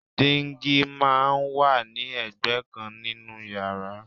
Díngí máa ń wà ní ẹgbẹ́ kan nínú yàrá